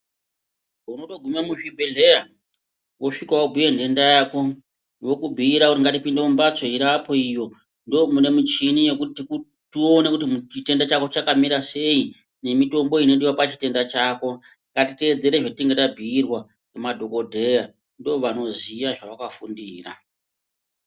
Unotogume muzvibhedhleya wosvika wobhuye ntenda yako wokubhiira kuti ngatipinde mumhatso iriapo iyo ndomune muchini yekuti tiku tione kuti chitenda chako chakamira sei nemitombo inodiwa pachitenda chako ngatiteedzere zvatinenge tabhiirwa ngemadhokodheya ndovanoziya zvavakafundira.